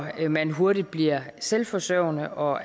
man hurtigt bliver selvforsørgende og